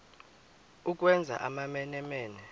ukwenza amamene mene